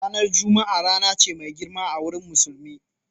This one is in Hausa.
Ranar Juma'a rana ce mai girma a wurin Musulmi.